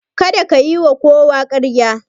Kada ka yiwa kowa ƙarya.